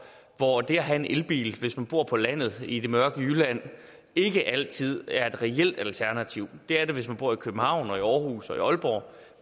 hvor det at have en elbil hvis man bor på landet i det mørke jylland ikke altid er et reelt alternativ det er det hvis man bor i københavn og i aarhus og i aalborg